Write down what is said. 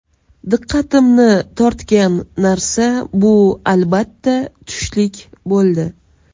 Diqqatimni tortgan narsa bu albatta tushlik bo‘ldi.